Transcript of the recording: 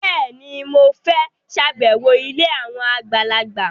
Bẹ́ẹ̀ni, mo fẹ́ ṣàbẹ̀wọ̀ ilé àwọn àgbàlagbà